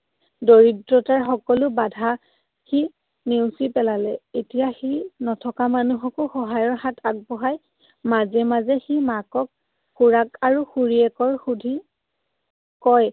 দৰিদ্ৰতাৰ সকলো বাধা সি নেওচি পেলালে। এতিয়া সি নথকা মানুহকো সহায়ৰ হাত আগবঢ়ায়। মাজে মাজে সি মাকক খুৰাক আৰু খুৰীয়েকৰ সুধি কয়